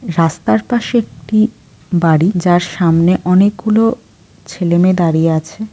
রাস্তার পাশে কি বাড়ি যার সামনে অনেকগুলো ছেলেমেয়ে দাঁড়িয়ে আছে ।